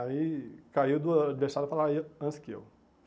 Aí caiu do adversário falar antes que eu.